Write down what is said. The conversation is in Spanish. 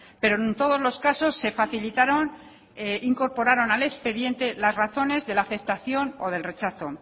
pero en todos los casos se facilitaron e incorporaron al expediente las razones de la aceptación o del rechazo